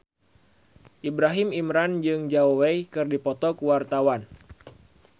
Ibrahim Imran jeung Zhao Wei keur dipoto ku wartawan